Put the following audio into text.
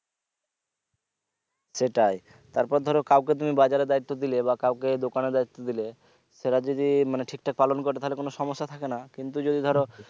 সেটাই তারপর ধরো কাউকে তুমি বাজারের দায়িত্ব দিলে বা কাউকে দোকানের দায়িত্ব দিলে সেটা যদি মানে ঠিক ঠাক পালন করে তাহলে কোনো সমস্যা থাকে না কিন্তু যদি ধরো